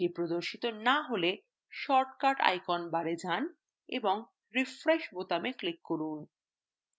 এটি প্রদর্শিত না হলে shortcut icons bar এ যান এবং refresh বোতামে click করুন